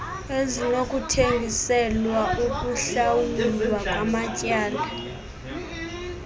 ezinokuthengiselwa ukuhlawulwa kwamatyala